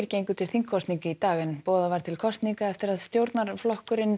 gengu til þingkosninga í dag en boðað var til kosninga eftir að stjórnarflokkurinn